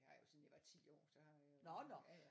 Det har jeg jo siden jeg var 10 år så har jeg ja ja